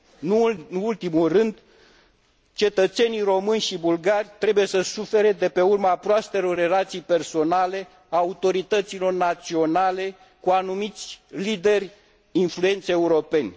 Nu în ultimul rând, cetățenii români și bulgari trebuie să sufere de pe urma proastelor relații personale ale autorităților naționale cu anumiți lideri influenți europeni.